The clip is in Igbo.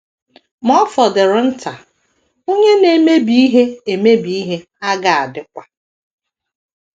Ma ọ fọdụrụ nta, onye na - emebi ihe - emebi ihe aga adịkwa...